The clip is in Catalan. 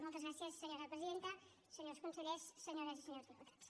moltes gràcies senyora presidenta senyors consellers senyores i senyors diputats